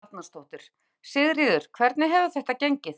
Helga Arnardóttir: Sigríður, hvernig hefur þetta gengið?